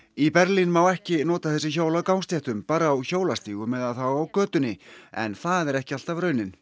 í Berlín má ekki nota þessi hjól á gangstéttum bara á hjólastígum eða þá á götunni en það er ekki alltaf raunin